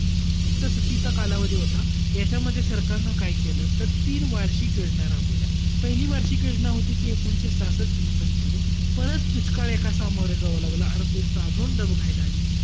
सुट्टीचा कालावधी होता. यांच्यामध्ये सरकारनं काय केलं? तर तीन वार्षिक योजना राबवल्या. पहिली वार्षिक योजना होती, ती एकोणाविसशे सहासष्ट सदुसष्ट मध्ये. परत दुष्काळ एका सामोरं जावं लागलं. अर्थ व्यवस्था अजून डबघाईला आली.